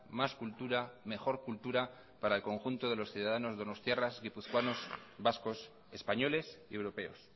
más cultura mejor cultura para el conjunto de los ciudadanos donostiarras guipuzcoanos vascos españoles y europeos